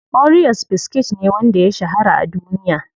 Oreos biskit ne wanda ya shahara a duniya.